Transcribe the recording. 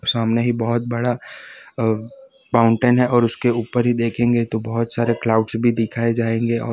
सामने ही बहोत बड़ा अ माउंटेन है और उसके ऊपर ही देखेंगे तो बहोत सारे क्लाउड्स भी दिखाए जाएंगे और--